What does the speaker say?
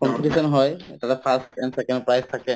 competition হয় তাতে first and second prize থাকে